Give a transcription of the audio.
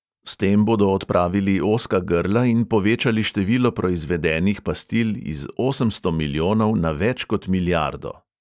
S tem bodo odpravili ozka grla in povečali število proizvedenih pastil iz osemsto milijonov na več kot milijardo.